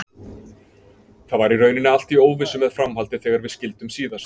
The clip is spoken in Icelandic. Það var í rauninni allt í óvissu með framhaldið þegar við skildum síðast.